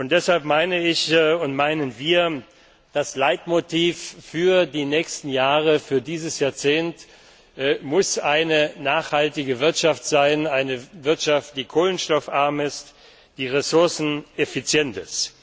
Deshalb meinen wir Das Leitmotiv für die nächsten Jahre, für dieses Jahrzehnt muss eine nachhaltige Wirtschaft sein, eine Wirtschaft, die kohlenstoffarm ist, die ressourceneffizient